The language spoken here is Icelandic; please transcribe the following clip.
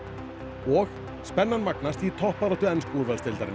og spennan magnast í toppbaráttu ensku úrvalsdeildarinnar